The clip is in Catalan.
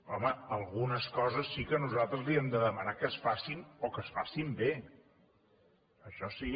home algunes coses sí que nosaltres li hem de demanar que es facin o que es facin bé això sí